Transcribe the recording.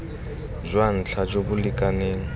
jwa ntlha jo bo lekaneng